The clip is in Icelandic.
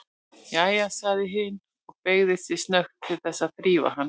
Jæja, sagði hin og beygði sig snöggt til þess að þrífa hann.